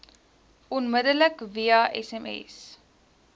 onmiddellik via sms